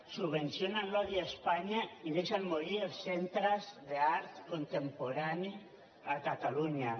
subvencionen l’odi a espanya i deixen morir els centres d’art contemporani a catalunya